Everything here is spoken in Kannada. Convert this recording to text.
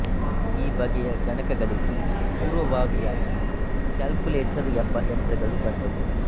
ಈ ಬಗೆಯ ಗಣಕಗಳಿಗೆ ಪೂರ್ವಭಾವಿಯಾಗಿ ಕ್ಯಾಲ್ಕ್ಯುಲೇಟರ್ ಎಂಬ ಯಂತ್ರಗಳು ಬಂದವು